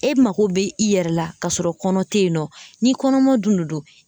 E mako be i yɛrɛ la ka sɔrɔ kɔnɔ te yen nɔ ni kɔnɔma dun no don